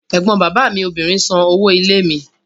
Ẹ̀gbọ́n bàbá mi obìnrin san owó ilé mi.